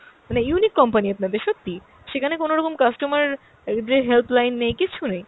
মানে unique company আপনাদের সত্যি। সেখানে কোনরকম customer দের helpline নেই, কিচ্ছু নেই।